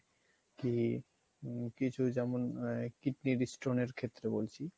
কি~ কিছু যেমন kidney stone এর ক্ষেত্রে বলছি